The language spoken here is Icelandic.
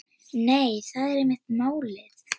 Nei, það er einmitt málið.